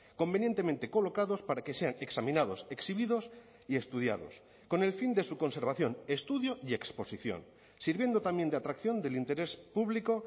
convenientemente colocados para que sean examinados exhibidos y estudiados con el fin de su conservación estudio y exposición sirviendo también de atracción del interés público